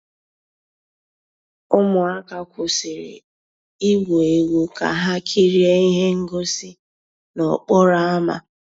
Ụmụ́àká kwụ́sị́rí ìgwú égwu ká há kìríé íhé ngósì n'òkpòró ámá.